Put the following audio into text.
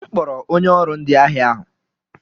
M kpọrọ onye ọrụ ndi ahịa ahụ.